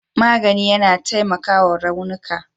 magani yAna taimakawa raunuka